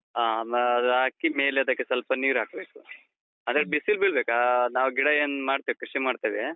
ಹಾ, ಅಹ್ ಅಹ್ ಅದ್ ಹಾಕಿ ಮೇಲದಕ್ಕೆ ಸ್ವಲ್ಪ ನೀರ್ ಹಾಕ್ಬೇಕು. ಅದಕ್ಕೆ ಬಿಸಿಲ್ ಬೀಳ್ಬೇಕು. ಆ, ನಾವು ಗಿಡ ಏನ್ ಮಾಡ್ತೇವೆ ಕೃಷಿ ಮಾಡ್ತೇವೆ.